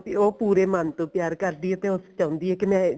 ਉਹ ਪੂਰੇ ਮਨ ਤੋਂ ਪਿਆਰ ਕਰਦੀ ਐ ਤੇ ਉਹ ਚਾਹੁੰਦੀ ਐ ਕਿ ਮੈਂ